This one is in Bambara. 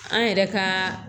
An yɛrɛ ka